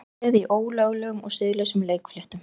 Peð í ólöglegum og siðlausum leikfléttum